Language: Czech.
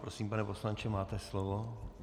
Prosím, pane poslanče, máte slovo.